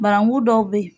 Barakun dɔw bɛ yen